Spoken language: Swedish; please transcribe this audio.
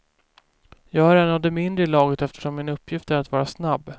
Jag är en av de mindre i laget eftersom min uppgift är att vara snabb.